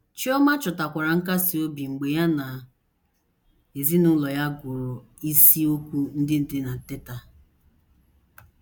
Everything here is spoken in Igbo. Chioma chọtakwara nkasi obi mgbe ya na ezinụlọ ya gụrụ isiokwu ndị dị na Teta!